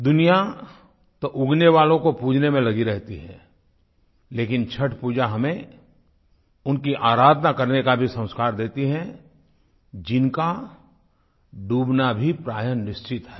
दुनिया तो उगने वालों को पूजने में लगी रहती है लेकिन छठपूजा हमें उनकी आराधना करने का भी संस्कार देती है जिनका डूबना भी प्रायः निश्चित है